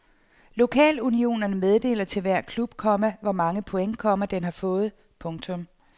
Lokalunionerne meddeler til hver klub, komma hvor mange point, komma den har fået. punktum